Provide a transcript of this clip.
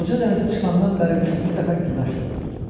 Qoca dənizə çıxandan bəri üçüncü dəfə günəş doğurdu.